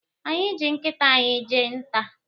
Anyị ji nkịta anyị jee nta.